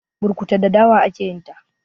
burkutu da dawa ake yinta